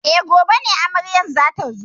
E, gobe ne amarya za ta zo.